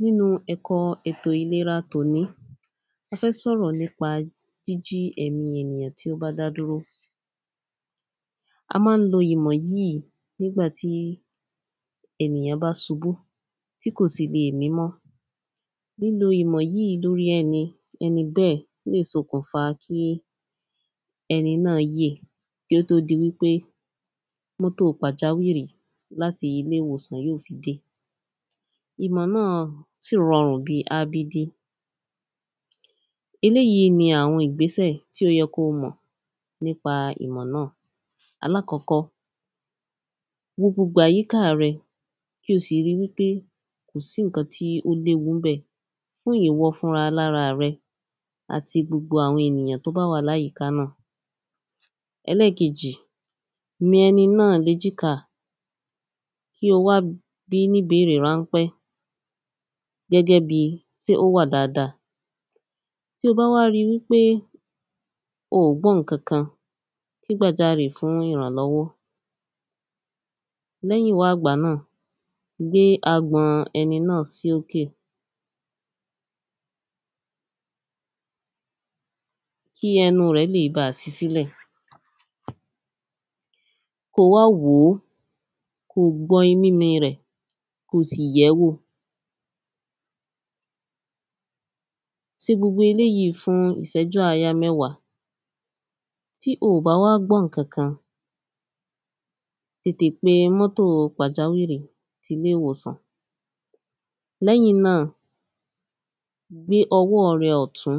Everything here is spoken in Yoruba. Nínú ẹ̀kọ́ ètò ìlera tòní a fẹ́ sọ̀rọ̀ nípa jíjí ẹ̀mí ènìyàn tí ó bá dá dúró a má ń lo ìmọ̀ yìí nígbàtí ènìyàn bá subú tí kò sì le mí mọ́. Lílo ìmọ̀ yìí lórí ẹni lórí ẹni bẹ́ẹ̀ lè sokùn fàá kí ẹni náà yè kí ó tó di wípé mọ́tò pàjáwìrì láti ilé ìwòsàn yóò fi dé ìmọ̀ náà sì rọrùn bí abd. Eléèyí ni àwọ̀n ìgbésẹ̀ tí ó yẹ kí o mọ̀ nípa ìmọ̀ náà. Alákọ́kọ́ wo gbogbo àyíká rẹ kí o sì rí wípé kò sí nǹkan tí ó léwu ńbẹ̀ fún ìwọ fúnra lára rẹ àti gbogbo àwọn ènìyàn tó bá wà láyìíká náà. Ẹlẹ́ẹ̀kejì mi ẹni náà léjìká kí o wá bí ní ìbérè ránpẹ́ gẹ́gẹ́ bí sé ó wà dáada tí o bá wá rí wípé o gbọ́ nǹkan kan ké gbàjarì fún ìrànlọ́wọ́. Lẹ́yìnwá ìgbà náà gbé agbọ̀n ẹni náà sí òkè kí ẹnu rẹ̀ lè bá sí sílẹ̀ kó wá wòó kó sì gbọ́ mímí rẹ̀ kó sì yẹ̀ẹ́ wò. Se gbogbo elêjí fún ìṣẹ́jú àyá mẹ́wàá tí o bá wá gbọ́ nǹkan kan tètè pe mọ́tò pàjáwìrì ti ilé ìwòsàn. Lẹ́yìn náà gbé ọwọ́ rẹ ọ̀tún